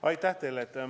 Aitäh teile!